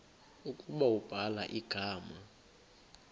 ukuba ubhala igama